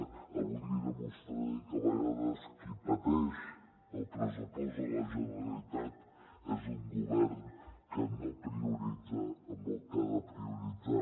avui li demostraré que a vegades qui pateix el pressupost de la generalitat és un govern que no prioritza en el que ha de prioritzar